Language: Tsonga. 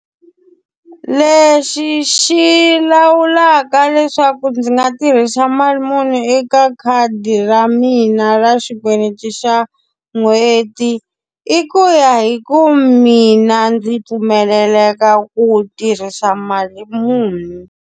Lexi xi lawulaka leswaku ndzi nga tirhisa mali muni eka khadi ra mina ra xikweleti xa n'hweti, i ku ya hi ku mina ndzi pfumeleleka ku tirhisa mali muni.